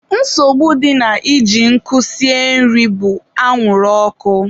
nsogbu dị na iji nkụ esi nri bụ anwụrụ ọkụ.